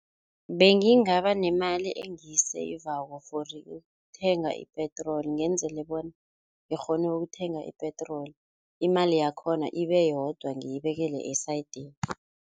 Bengingaba nemali engiyisayivako for ukuthenga ipetroli ngenzela bonyana ngikghone ukuthenga ipetroli, imali yakhona ibeyodwa ngiyibeka esayidini.